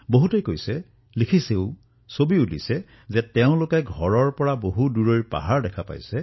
বহু লোকে কৈছে লিখিছে চিত্ৰ বিনিময় কৰিছে